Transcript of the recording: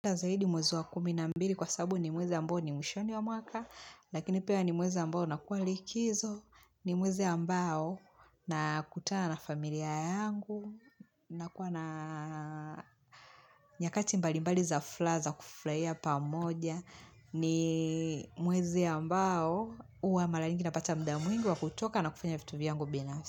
Napenda zaidi mwezi wa kumi na mbili kwa sabu ni mwezi ambao ni mwishoni wa mwaka, lakini pia ni mwezi ambao unakuwa likizo, ni mwezi ambao nakutana familia yangu, na kuwa na nyakati mbalimbali za furaha za kufurahia pamoja, ni mwezi ambao huwa mara nyingi napata muda mwingi wa kutoka na kufanya vitu vyangu binafsi.